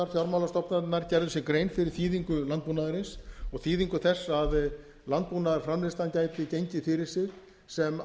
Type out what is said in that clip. fjármálastofnanirnar gerðu sér grein fyrir þýðingu landbúnaðarins og þýðingu þess að landbúnaðarframleiðslan gæti gengið fyrir sig sem